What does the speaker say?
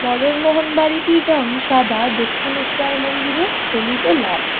মদনমোহন বাড়িটির রং সাদা দক্ষিণেশ্বর মন্দিরের হলুদ ও লাল।